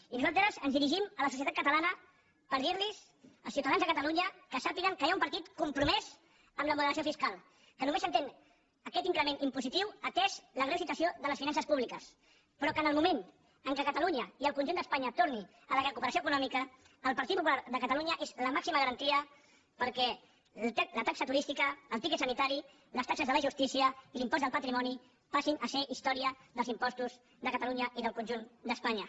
i nosaltres ens dirigim a la societat catalana per dir als ciutadans de cata lunya que sàpiguen que hi ha un partit compromès amb la moderació fiscal que només s’entén aquest increment impositiu atesa la greu situació de les finances públiques però que en el moment en què a catalunya i al conjunt d’espanya torni la recuperació econòmica el partit popular de catalunya és la màxima garantia perquè la taxa turística el tiquet sanitari les taxes de la justícia i l’impost del patrimoni passin a ser història dels impostos de catalunya i del conjunt d’espanya